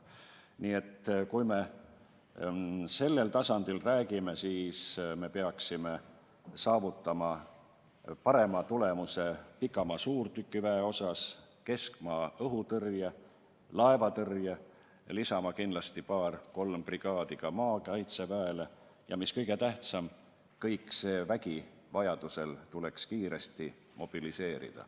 Nii et kui me sellel tasandil räägime, siis me peaksime saavutama parema tulemuse pikamaa-suurtükiväe, keskmaa-õhutõrje ja laevatõrje osas, lisama kindlasti paar-kolm brigaadi maakaitseväele ja mis kõige tähtsam: kõik see vägi tuleks suuta vajaduse korral kiiresti mobiliseerida.